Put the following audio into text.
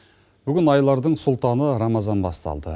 бүгін айлардың султаны рамазан басталды